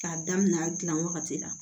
K'a daminɛ a dilan wagati la